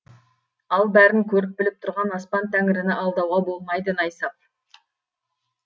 ал бәрін көріп біліп тұрған аспан тәңіріні алдауға болмайды найсап